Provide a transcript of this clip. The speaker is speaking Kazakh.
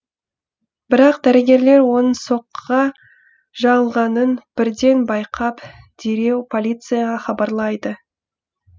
бірақ дәрігерлер оның соққыға жалғанын бірден байқап дереу полицияға хабарлайды